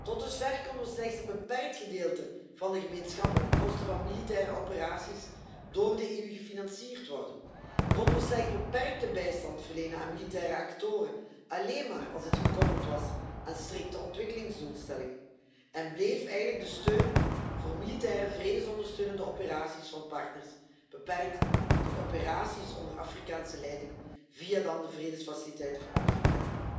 Tot dusver kon slechts een beperkt gedeelte van de gemeenschappelijke kosten van militaire operaties door de EU gefinancierd worden, konden we slechts beperkte bijstand verlenen aan militaire activiteiten, alleen maar als het gekoppeld was aan strikte ontwikkelingsdoelstellingen, en bleef eigenlijk de steun voor militaire vredesondersteunende operaties van partners beperkt tot operaties onder Afrikaanse leiding via de vredesfaciliteiten voor Afrika.